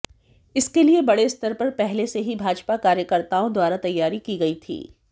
इसके लिए बड़े स्तर पर पहले से ही भाजपा कार्यकर्ताओं द्वारा तैयारी की गई थी